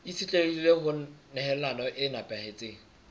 itshetlehile ho nehelano e nepahetseng